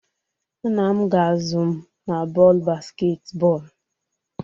Nna m ga-azụ m na bọọlụ basketball